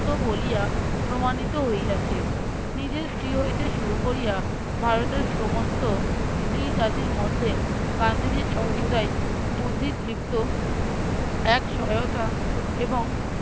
বলিয়া প্রমাণিত হইয়াছে নিজের স্ত্রী হইতে শুরু কোরিয়া ভারতের সমস্ত স্ত্রী জাতির মধ্যে গান্ধীজী সর্বদাই বুদ্ধিদীপ্ত এক সহায়তা এবং